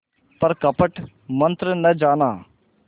पर कपट मन्त्र न जाना